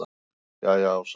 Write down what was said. Jæja Ása mín.